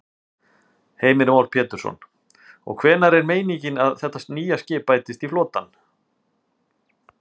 Heimir Már Pétursson: Og hvenær er meiningin að þetta nýja skip bætist í flotann?